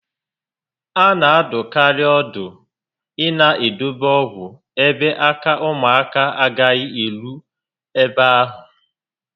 A na adụkarị ọdụ ịna edobe ọgwụ ebe ala ụmụaka agaghị eru ebe ahụ